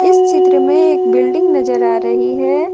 इस चित्र में एक बिल्डिंग नजर आ रही है।